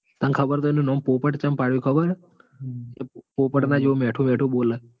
તન ખબર તો હ એનું નામ પોપટ ચમ પડ્યું ખબર હ? કે પોપટ ના જેમ મીઠું મીઠું બોલ.